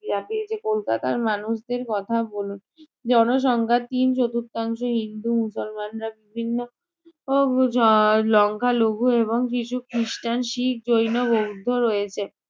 চাপিয়েছে। কলকাতার মানুষদের কথা বলুন, জনসংখ্যার তিন চতুর্থাংশ হিন্দু মুসুলমানরা বিভিন্ন আহ উহ সংখ্যালঘু এবং কিছু খ্রিষ্টান, শিখ, জৈন, বৌদ্ধ রয়েছে।